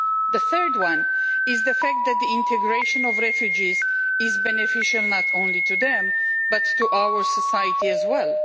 The third one is the fact that the integration of refugees is beneficial not only to them, but to our society as well.